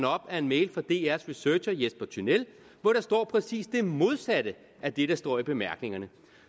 op af en mail fra dr’s researcher jesper tynell hvor der står præcis det modsatte af det der står i bemærkningerne